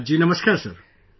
Ji Namaskar Sir